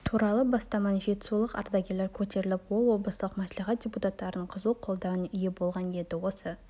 туралы бастаманы жетісулық ардагерлер көтеріп ол облыстық мәслихат депутаттарының қызу қолдауына ие болған еді осы